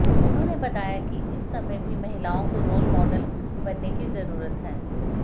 उन्होंने बताया कि इस समय भी महिलाओं को रोल मॉडल बनने की जरूरत है